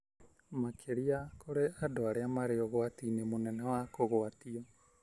makĩria kũrĩ andũ arĩa marĩ ũgwati-inĩ mũnene wa kũgwatio.